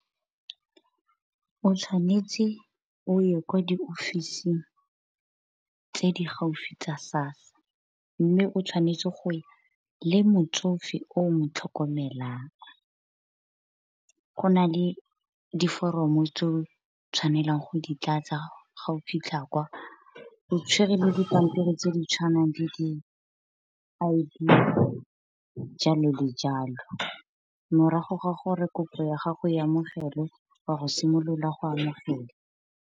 O tshwanetse o ye kwa di ofising tse di gaufi tsa SASSA, mme o tshwanetse go ya le motsofe o mo tlhokomelang. Go na le diforomo tse o tshwanelang go di tlatsa ga o fitlha kwa o tshwere le dipampiri tse di tshwanang le di I_D jalo le jalo. Morago ga gore kopo ya gago e amogelwe wa go simolola go amogela.